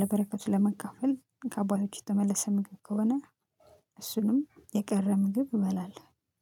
ለበረከት ለመካፈል ከአባቶች የተመለሰ ምግብ ከሆነ እሱንም የቀረ ምግብ እበላለሁ